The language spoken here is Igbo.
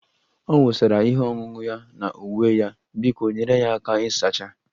Ọ wụsara ihe ọṅụṅụ ya na uwe ya, biko nyere ya aka ịsacha